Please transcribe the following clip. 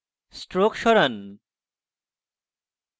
stroke সরান